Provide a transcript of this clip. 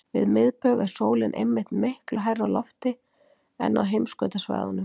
Við miðbaug er sólin einmitt miklu hærra á lofti en á heimskautasvæðunum.